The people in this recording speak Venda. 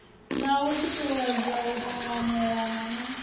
na u tutuwedza u tanganelana